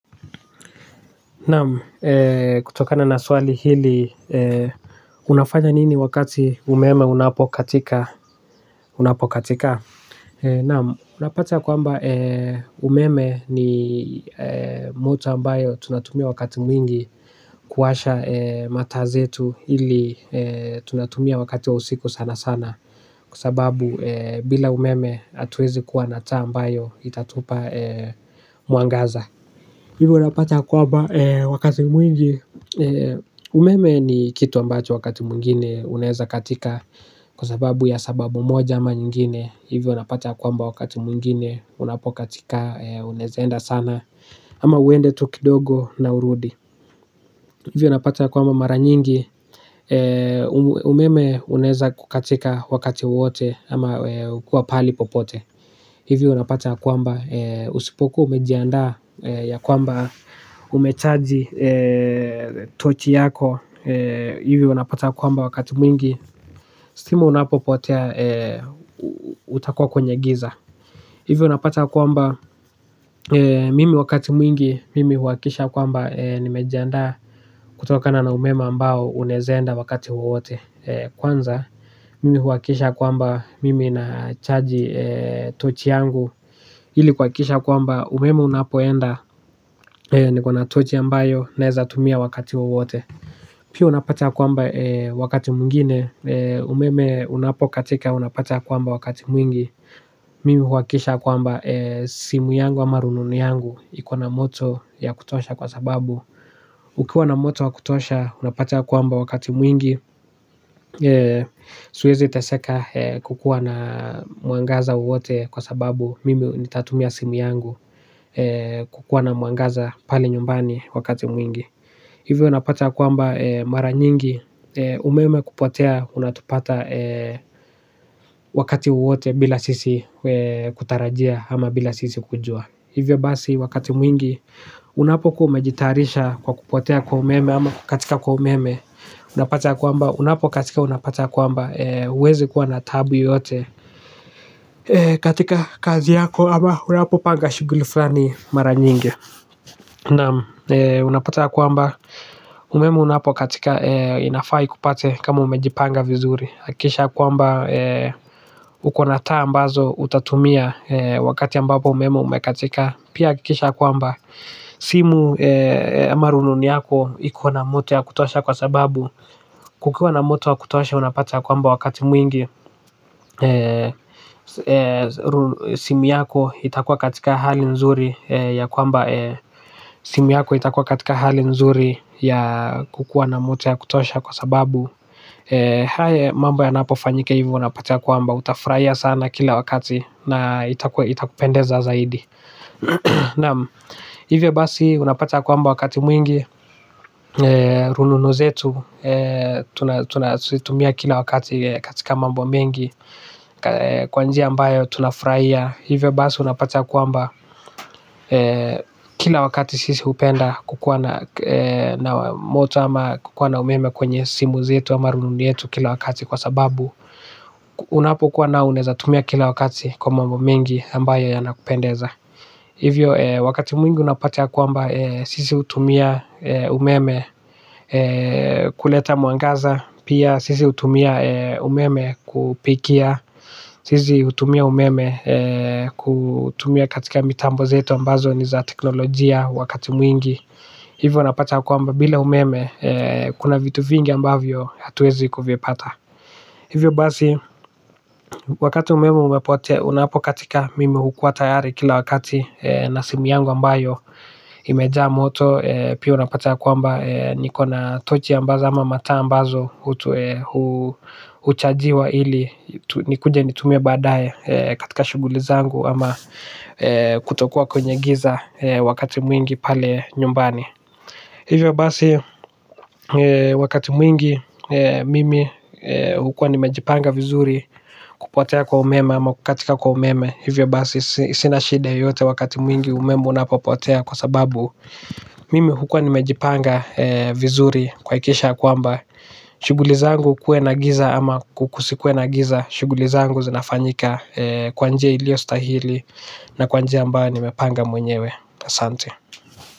Naam kutokana na swali hili unafanya nini wakati umeme unapokatika, unapokatika. Naam unapata kwamba umeme ni moto ambayo tunatumia wakati mwingi kuwasha mataa zetu ili tunatumia wakati wa usiku sana sana. Kwa sababu bila umeme hatuwezi kuwa na taa ambayo itatupa mwangaza. Hivyo unapata kwamba wakati mwingi. Umeme ni kitu ambacho wakati mwingine unaeza katika kwa sababu ya sababu moja ama nyingine. Hivyo unapata kwamba wakati mwingine unapokatika unaeza enda sana ama uende tu kidogo na urudi. Hivyo unapata ya kwamba mara nyingi. Umeme unaeza kukatika wakati wowote ama ukiwa pahali popote. Hivi unapata ya kwamba usipokuwa umejiandaa ya kwamba umechaji tochi yako hivi unapata kwamba wakati mwingi stima unapopotea utakuwa kwenye giza hivi unapata kwamba mimi wakati mwingi mimi huhakikisha kwamba nimejiandaa kutokana na umeme ambao unaeza enda wakati wowote kwanza mimi huhakikisha kwamba mimi nachaji tochi yangu ili kuhakikisha kwamba umeme unapoenda niko na tochi ambayo naeza tumia wakati wowote. Pia unapata kwamba wakati mwingine umeme unapokatika unapata kwamba wakati mwingi. Mimi huhakikisha kwamba simu yangu ama rununu yangu iko na moto ya kutosha kwa sababu ukiwa na moto wa kutosha unapata kwamba wakati mwingi. Siwezi teseka kukuwa na mwangaza wowote kwa sababu mimi nitatumia simu yangu. Kukuwa na mwangaza pale nyumbani wakati mwingi. Hivyo unapata kwamba mara nyingi. Umeme kupotea unatupata wakati wowote bila sisi kutarajia ama bila sisi kujua. Hivyo basi wakati mwingi unapokuwa umejitayarisha kwa kupotea kwa umeme ama kukatika kwa umeme. Unapata kwamba unapokatika unapata kwamba huwezi kuwa na taabu yoyote. Katika kazi yako ama unapopanga shughuli fulani mara nyingi. Naam unapata ya kwamba umeme unapokatika inafai ikupate kama umejipanga vizuri. Hakikisha ya kwamba uko na taa ambazo utatumia wakati ambapo umeme umekatika. Pia hakikisha kwamba simu ama rununu yako iko na moto ya kutosha kwa sababu kukiwa na moto ya kutosha, unapata ya kwamba wakati mwingi. Simu yako itakuwa katika hali nzuri ya kwamba simu yako itakuwa katika hali nzuri ya kukuwa na moto ya kutosha kwa sababu mambo yanapofanyika hivo unapata kwamba utafurahia sana kila wakati. Na itakupendeza zaidi. Naam. Hivyo basi unapata ya kwamba wakati mwingi. Rununu zetu tunazotumia kila wakati katika mambo mengi. Kwa njia ambayo tunafurahia hivyo basi unapata ya kwamba kila wakati sisi hupenda kukuwa na moto ama kukuwa na umeme kwenye simu zetu ama rununu yetu kila wakati kwa sababu unapokuwa nao unaeza tumia kila wakati kwa mambo mengi ambayo yanakupendeza. Hivyo wakati mwingi unapata ya kwamba sisi hutumia umeme kuleta mwangaza. Pia sisi hutumia umeme kupikia sisi hutumia umeme. Kutumia katika mitambo zetu ambazo ni za kiteknolojia wakati mwingi. Hivyo unapata kwamba bila umeme kuna vitu vingi ambavyo hatuwezi kuvipata. Hivyo basi wakati umeme umepotea unapokatika mimi hukuwa tayari kila wakati na simu yangu ambayo imejaa moto pia unapata ya kwamba niko na tochi ambazo ama mataa ambazo huchajiwa ili nikuje nitumie baadaye katika shughuli zangu. Ama kutokuwa kwenye giza wakati mwingi pale nyumbani. Hivyo basi wakati mwingi mimi hukuwa nimejipanga vizuri kupotea kwa umeme ama kukatika kwa umeme. Hivyo basi sina shida yoyote wakati mwingi umeme unapopotea kwa sababu mimi hukuwa nimejipanga vizuri kuhakikisha kwamba shughuli zangu kuwe na giza ama kusikuwe na giza. Shughuli zangu zinafanyika kwa njia iliyostahili. Na kwa njia ambayo nimepanga mwenyewe. Asante.